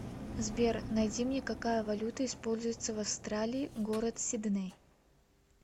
сбер найди мне какая валюта используется в австралии город сидней